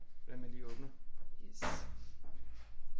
Hvordan man lige åbner